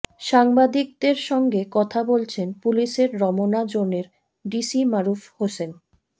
সাংবাদিকদের সঙ্গে কথা বলছেন পুলিশের রমনা জোনের ডিসি মারুফ হোসেন